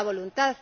Falta voluntad.